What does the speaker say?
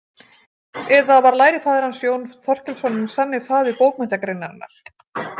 Eða var lærifaðir hans Jón Þorkelsson hinn sanni faðir bókmenntagreinarinnar?